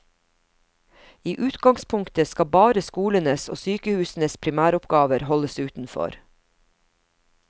I utgangspunktet skal bare skolenes og sykehusenes primæroppgaver holdes utenfor.